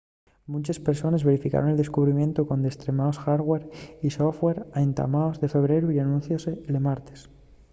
munches persones verificaron el descubrimientu con destremaos hardware y software a entamos de febreru y anunciose'l martes